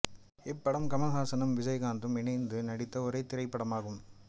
இப்படம் கமல்ஹாசனும் விஜயகாந்தும் இணைந்து நடித்த ஒரே திரைப்படமும் ஆகும்